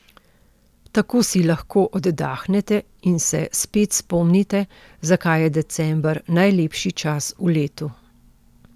Tako si lahko oddahnete in se spet spomnite, zakaj je december najlepši čas v letu.